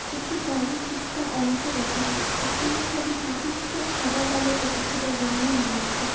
একটি গাড়ির কিছুটা অংশ দেখা যাচ্ছে। এই ছবিটি কিছুটা সাদা কালো ও কিছুটা রঙিন রয়েছে।